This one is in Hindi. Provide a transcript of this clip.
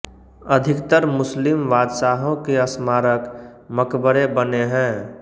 अधिकतर मुस्लिम बादशाहों के स्मारक मकबरे बने हैं